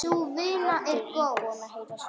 Raddir íbúanna heyrast varla.